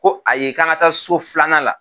Ko ayi k'an ka taa so filanan la